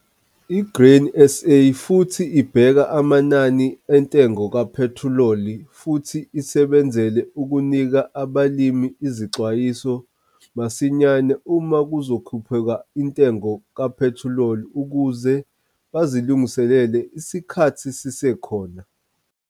I-Grain SA futhi ibheka amanani entengo kaphethiloli futhi isebenzele ukunika abalimi izixwayiso masinyane uma kuzokhuphuka intengo kaphethiloli ukuze bazilungiselele isikhathi sisekhona.